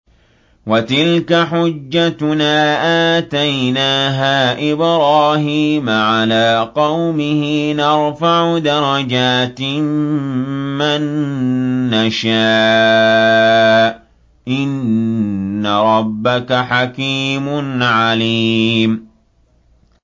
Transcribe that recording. وَتِلْكَ حُجَّتُنَا آتَيْنَاهَا إِبْرَاهِيمَ عَلَىٰ قَوْمِهِ ۚ نَرْفَعُ دَرَجَاتٍ مَّن نَّشَاءُ ۗ إِنَّ رَبَّكَ حَكِيمٌ عَلِيمٌ